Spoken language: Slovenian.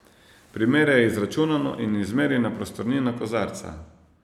Primerjaj izračunano in izmerjeno prostornino kozarca.